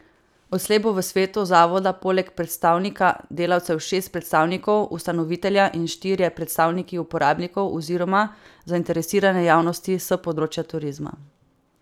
Odslej bo v svetu zavoda poleg predstavnika delavcev šest predstavnikov ustanovitelja in štirje predstavniki uporabnikov oziroma zainteresirane javnosti s področja turizma.